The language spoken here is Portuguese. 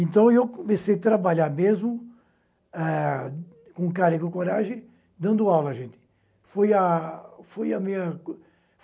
Então, eu comecei a trabalhar mesmo, ah com cara e com coragem, dando aula gente. Foi a foi a minha